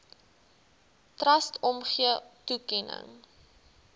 trust omgee toekenning